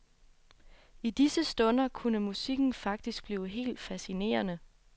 I disse stunder kunne musikken faktisk blive helt fascinerende.